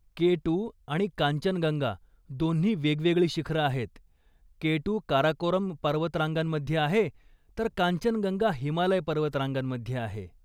केटू आणि कांचनगंगा दोन्ही वेगवेगळी शिखरं आहेत, केटू काराकोरम पर्वतरांगांमध्ये आहे, तर कांचनगंगा हिमालय पर्वतरांगांमध्ये आहे.